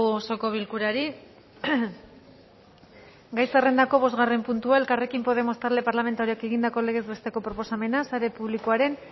osoko bilkurari gai zerrendako bosgarren puntua elkarrekin podemos talde parlamentarioak egindako legez besteko proposamena sare publikoaren